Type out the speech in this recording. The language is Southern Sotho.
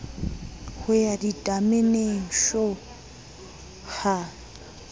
ho ya ditameneng shu ha